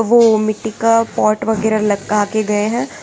वो मिट्टी का पॉट वगैरा लटका के गए हैं।